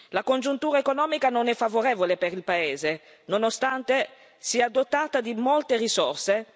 La congiuntura economica non è favorevole per il paese, nonostante sia dotato di molte risorse.